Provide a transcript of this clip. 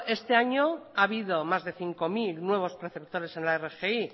bueno este año ha habido más de cinco mil nuevos perceptores en la rgi